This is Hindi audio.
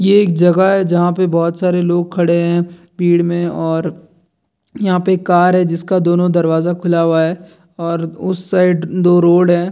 ये एक जगह है जहाँ पर बहुत सारे लोग खड़े हैं भीड़ में और यहाँ पर एक कार है जिसका दोनो दरवाजा खुला हुआ है और उस साइड दो रोड है।